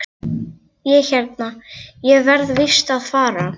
Ég hérna. ég verð víst að fara!